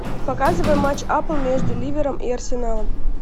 показывай матч апл между ливером и арсеналом